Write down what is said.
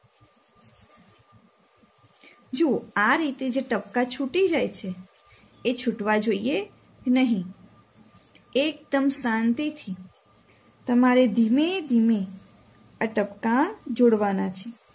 જુઓ આ રીતે જે ટપકા છૂટી જાય છે એ છૂટવા જોઈએ નહીં એકદમ શાંતિથી તમારે ધીમે ધીમે આ ટપકા જોડવાના છે.